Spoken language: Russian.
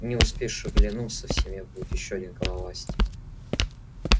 не успеешь оглянуться в семье будет ещё один головастик